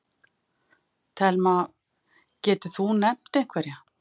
Telma: Getur þú nefnt einhverja?